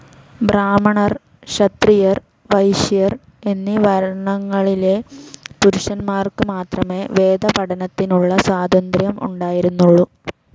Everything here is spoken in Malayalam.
ബ്രാഹ്മണർ ക്ഷത്രിയർ വൈശ്യർ എന്നീ വർണങ്ങളിലെ പുരുഷന്മാർക്ക് മാത്രമേ വേദപഠനത്തിനുള്ള സ്വാതന്ത്ര്യം ഉണ്ടായിരുന്നുള്ളു.